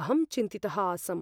अहं चिन्तितः आसम्।